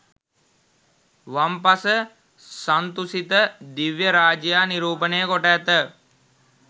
වම් පස සන්තුසිත දිව්‍යරාජයා නිරූපණය කොට ඇත